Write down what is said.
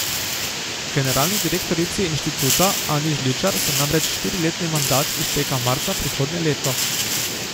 Generalni direktorici inštituta Ani Žličar se namreč štiriletni mandat izteka marca prihodnje leto.